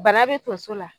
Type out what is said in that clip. Bana be tonso la